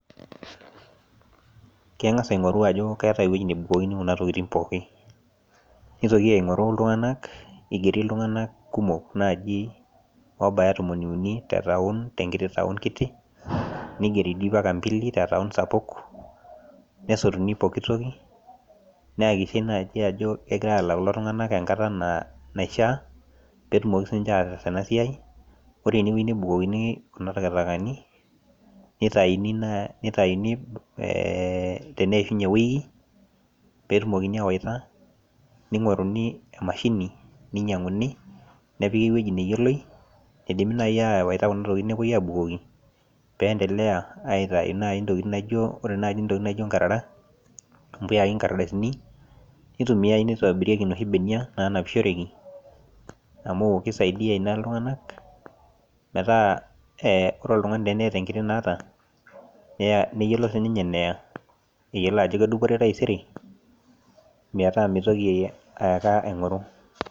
Kengas aingoru ajo keatae ewueji nebukokini kuna ntokitin pooki, neitoki aingoru iltunganak, eigeri iltunganak kumok naaji oobaya intomoni ouni te ntaun, te enkiti ntaon kitii ,neigeri mpaka mbili te ntaon sapuk, nesotuni pooki toki, neakikishae naaji ajo ekegirai ayau kulo tunganak enkataa naishaa, peetumoki sii eniche ataas ena siai. Ore ewueji nebukokini kuna intakitakani ,neitaini naa ,neitanini teneishunye ewueji, peetumoki aawueita ,neing'oruni emashini neinyanguni nepiki ewueji neyioloi, eidimi nai aaweta kuna tokitin nepoi aabukoki, peendelea aitai nai ntokitin naijo, kore naaji intokitin naijo inkarara ,impuyai inkardasini, neitumiyai neitobirieki enoshi imbenia naanapishoreki amu keisaidia ina iltunganak ,metaa ore oltungani teneeta enkiti neeta, nayiolo sii ninye neya eyiolo ajo kedupore taisere metaa meitoki ake aata aing'oru.